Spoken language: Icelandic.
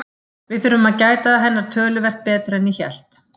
Við þurfum að gæta hennar töluvert betur en ég hélt.